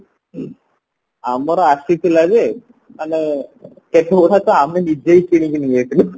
ଆମର ଆସିଥିଲା ଯେ ମାନେ ଆମେ ନିଜେ ହିଁ କିଣିକି ନେଇଆସିଲୁ